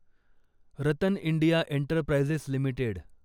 Ratan India enterprises limited